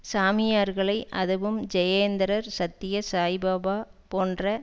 சாமியார்களை அதுவும் ஜெயேந்திரர் சத்ய சாய்பாபா போன்ற